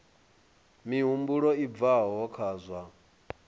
mihumbulo i bvaho kha zwa